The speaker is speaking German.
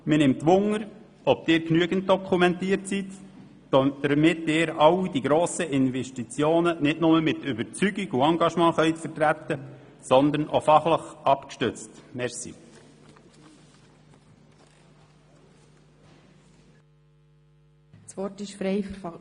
Mich interessiert, ob Sie genügend dokumentiert sind, um all diese grossen Investitionen nicht nur mit Überzeugung und Engagement, sondern auch fachlich abgestützt zu vertreten.